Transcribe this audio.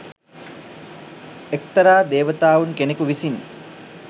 එක්තරා දේවතාවුන් කෙනෙකු විසින්